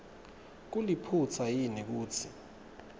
kuliphutsa yini kutsi